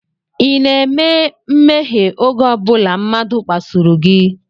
Ị na-eme mmehie oge ọ bụla mmadụ kpasuru gị?